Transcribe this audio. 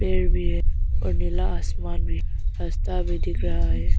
पेड़ भी है और नीला आसमान भी रास्ता भी दिख रहा है।